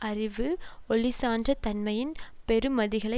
அறிவு ஒளி சான்ற தன்மையின் பெறுமதிகளை